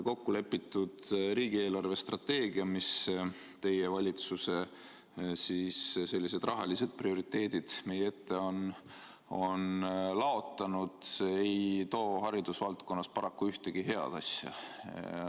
Kokkulepitud riigi eelarvestrateegia, milles teie valitsuse rahalised prioriteedid on meie ette laotatud, ei too haridusvaldkonda paraku ühtegi head asja.